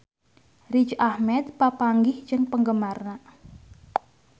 Riz Ahmed papanggih jeung penggemarna